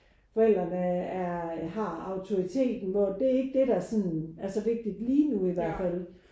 Forældrene er har autoriteten hvor det er ikke det der sådan er så vigtigt lige nu i hvert fald